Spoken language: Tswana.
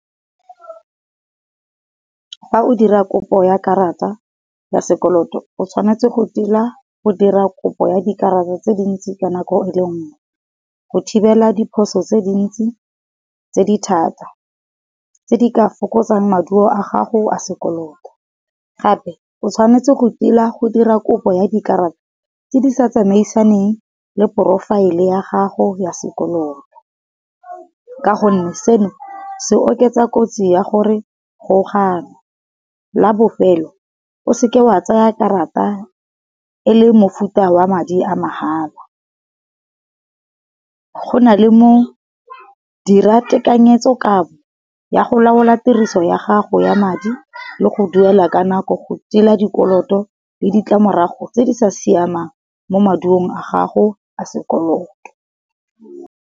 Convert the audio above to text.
Fa o dira kopo ya karata ya sekoloto o tshwanetse go tila go dira kopo ya dikarata tse dintsi ka nako e le nngwe, go thibela diphoso tse dintsi tse di thata tse di ka fokotsang maduo a gago a sekoloto. Gape o tshwanetse go tila go dira kopo ya dikarata tse di sa tsamaisaneng le porofaele ya gago ya sekoloto. Ka gonne seno se oketsa kotsi ya gore go ganwe, la bofelo o seke wa tsaya karata e le mofuta wa madi a mahala. Go na le mo dira tekanyetso-kabo ya go laola tiriso ya gago ya madi, le go duela ka nako go tila di koloto le ditlamorago tse di sa siamang mo maduo a gago a sekoloto.